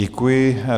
Děkuji.